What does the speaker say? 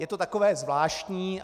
Je to takové zvláštní.